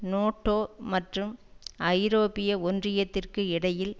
NATO மற்றும் ஐரோப்பிய ஒன்றியத்திற்கு இடையில்